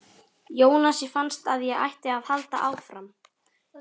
Jónasi fannst að ég ætti að halda áfram.